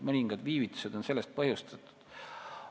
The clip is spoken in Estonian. Mõningad viivitused on sellest põhjustatud.